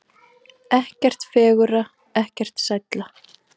Ekkert fegurra, ekkert sælla.